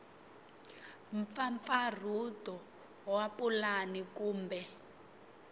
b mpfampfarhuto wa pulani kumbe